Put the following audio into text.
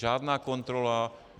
Žádná kontrola.